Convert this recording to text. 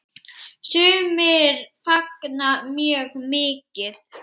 Sumir fagna mjög mikið.